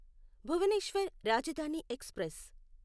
Bhubaneswar Rajdhani express